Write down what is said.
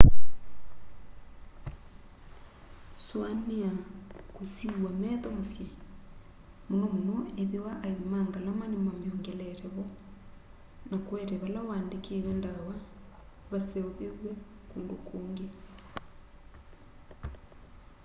suania kwusiiw'a metho musyi muno muno ethiwa aivi ma ngalama nimamiongelete vo na kuete vala uandikiwe ndawa vaseuviw'e kundu kungi